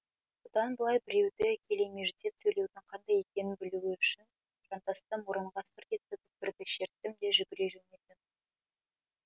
бұдан былай біреуді келемеждеп сөйлеудің қандай екенін білуі үшін жантасты мұрынға сырт еткізіп бірді шерттім де жүгіре жөнелдім